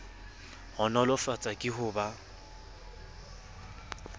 bo nolofatswa ke ho ba